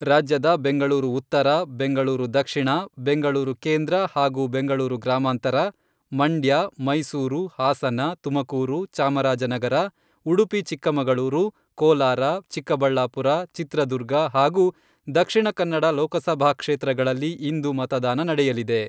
ರಾಜ್ಯದ ಬೆಂಗಳೂರು ಉತ್ತರ, ಬೆಂಗಳೂರು ದಕ್ಷಿಣ, ಬೆಂಗಳೂರು ಕೇಂದ್ರ ಹಾಗೂ ಬೆಂಗಳೂರು ಗ್ರಾಮಾಂತರ, ಮಂಡ್ಯ, ಮೈಸೂರು, ಹಾಸನ, ತುಮಕೂರು, ಚಾಮರಾಜನಗರ, ಉಡುಪಿ ಚಿಕ್ಕಮಗಳೂರು, ಕೋಲಾರ, ಚಿಕ್ಕಬಳ್ಳಾಪುರ, ಚಿತ್ರದುರ್ಗ ಹಾಗೂ ದಕ್ಷಿಣ ಕನ್ನಡ ಲೋಕಸಭಾ ಕ್ಷೇತ್ರಗಳಲ್ಲಿ ಇಂದು ಮತದಾನ ನಡೆಯಲಿದೆ.